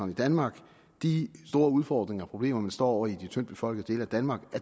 i danmark de store udfordringer og problemer man står over for i de tyndtbefolkede dele af danmark